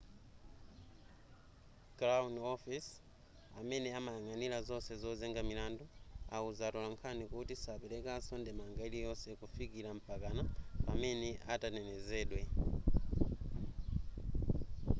crown office amene amayang'anira zonse zozenga milandu awuza atolankhani kuti sapelekanso ndemanga iliyonse kufikira mpakana pamene atanenezedwa